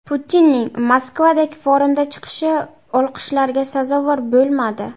Putinning Moskvadagi forumda chiqishi olqishlarga sazovor bo‘lmadi.